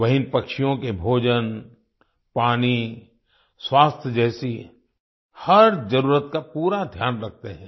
वहीँ पक्षियों के भोजन पानी स्वास्थ्य जैसी हर जरुरत का पूरा ध्यान रखते हैं